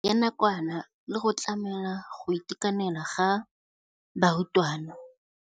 Ya nakwana le go tlamela go itekanela ga barutwana.